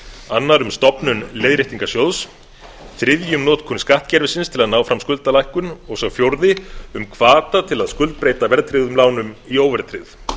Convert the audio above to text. annar um stofnun leiðréttingarsjóð þriðji um notkun skattkerfisins til að ná fram skuldalækkun og sá fjórði um hvata til að skuldbreyta verðtryggðum lánum í óverðtryggð